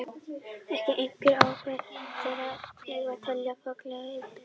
Ekki er einfalt að ákvarða hverja þeirra eigi að telja faglærða iðnaðarmenn.